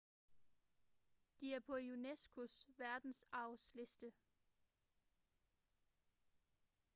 de er på unesco's verdensarvsliste